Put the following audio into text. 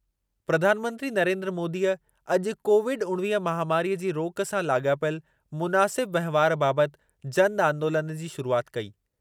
प्रधानमंत्री नरेन्द्र मोदीअ आॼु कोविड उणिवीह महामारीअ जी रोक सां लाॻापियल मुनासिब वहिंवारु बाबति जन आंदोलनु जी शुरूआति कई।